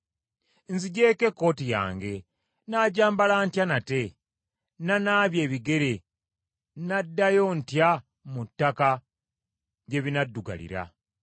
Nziggyeko ekkooti yange, nnaagyambala ntya nate? Nanaabye ebigere, nnaddayo ntya mu ttaka gye binaddugalira?